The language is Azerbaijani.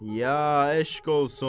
Ya eşq olsun!